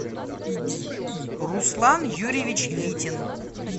руслан юрьевич витин